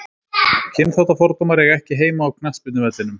Kynþáttafordómar eiga ekki heima á knattspyrnuvellinum.